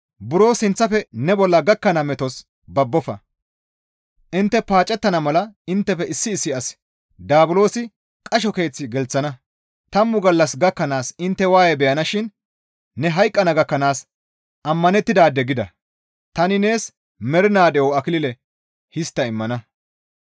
Buro sinththafe ne bolla gakkana metos babbofa; intte paacettana mala inttefe issi issi asata daabulosi qasho keeth gelththana. Tammu gallas gakkanaas intte waaye beyanashin ne hayqqana gakkanaas ammanettidaade gida; tani nees mernaa de7o akilile histta immana.